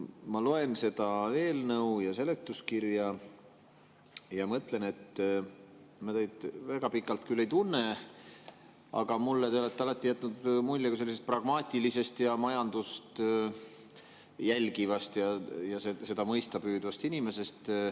Ma loen seda eelnõu ja seletuskirja ja mõtlen, et me väga pikalt küll ei tunne, aga mulle on teist alati jäänud mulje kui pragmaatilisest, majandust jälgivast ja seda mõista püüdvast inimesest.